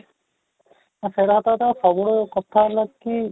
ସେଇଟା ତ ସତ ସବୁବେଳେ କଥା ହେଲେ କି